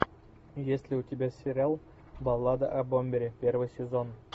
есть ли у тебя сериал баллада о бомбере первый сезон